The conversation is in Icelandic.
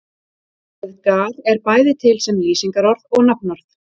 Orðið gar er bæði til sem lýsingarorð og nafnorð.